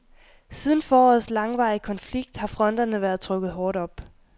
Siden forårets langvarige konflikt har fronterne været trukket hårdt op.